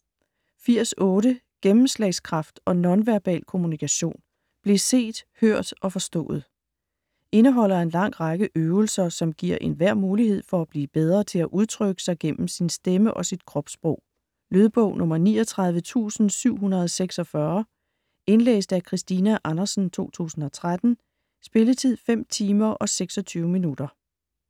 80.8 Gennemslagskraft & nonverbal kommunikation: bliv set, hørt og forstået Indeholder en lang række øvelser, som giver enhver mulighed for at blive bedre til at udtrykke sig gennem sin stemme og sit kropssprog. Lydbog 39746 Indlæst af Christina Andersen, 2013. Spilletid: 5 timer, 26 minutter.